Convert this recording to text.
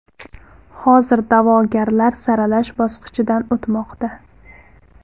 Hozir da’vogarlar saralash bosqichidan o‘tmoqda.